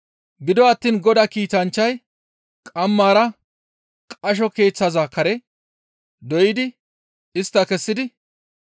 Gido attiin Godaa kiitanchchay qammara qasho keeththaza kare doydi istta kessidi,